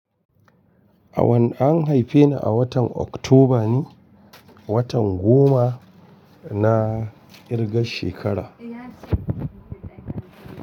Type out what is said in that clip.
A wanne an haife ni a watan Oktoba ne, watan goma na ƙirga shekara.